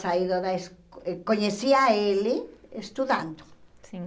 Saído da esco, conhecia ele estudando. Sim